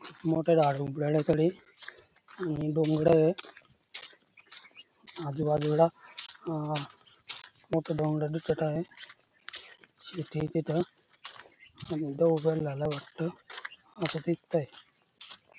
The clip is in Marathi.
आणि डोंगरय आजूबाजूला अ मोठ डोंगर दिसत आहे शेतीय तिथ आणि वाटत अस दिसतय.